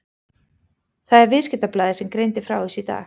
Það er Viðskiptablaðið sem greindi frá þessu í dag.